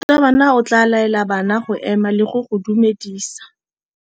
Morutabana o tla laela bana go ema le go go dumedisa.